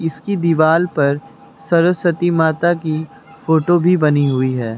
इसकी दीवाल पर सरस्वती माता की फोटो भी बनी हुई है।